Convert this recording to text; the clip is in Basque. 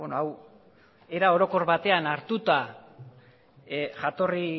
hau era orokor batean hartuta jatorri